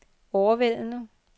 overvældende